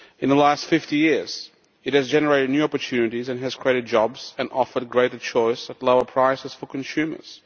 In the last 50 years it has generated new opportunities, created jobs and offered greater choice at lower prices for consumers.